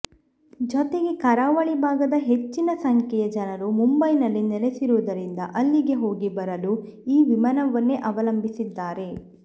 ಜತೆಗೆ ಕರಾವಳಿ ಭಾಗದ ಹೆಚ್ಚಿನ ಸಂಖ್ಯೆಯ ಜನರು ಮುಂಬೈನಲ್ಲಿ ನೆಲೆಸಿರುವುದರಿಂದ ಅಲ್ಲಿಗೆ ಹೋಗಿ ಬರಲು ಈ ವಿಮಾನವನ್ನೇ ಅವಲಂಬಿಸಿದ್ದಾರೆ